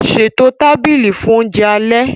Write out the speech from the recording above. Ṣètò tábìlì fún oúnjẹ alẹ́